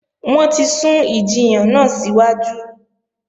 Wọ́n ti sún ìjiyàn náà síwájú